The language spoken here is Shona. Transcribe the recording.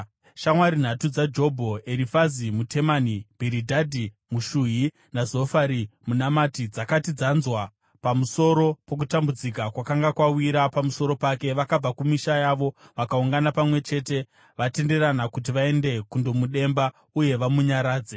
Shamwari nhatu dzaJobho, Erifazi muTemani, Bhiridhadhi muShuhi naZofari muNamati dzakati dzanzwa pamusoro pokutambudzika kwakanga kwawira pamusoro pake, vakabva kumisha yavo vakaungana pamwe chete vatenderana kuti vaende kundomudemba uye vamunyaradze.